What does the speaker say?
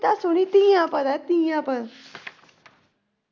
ਕਵਿਤਾ ਸੁਣੀ ਧੀਆਂ ਪਰ ਧੀਆਂ ਪਰ।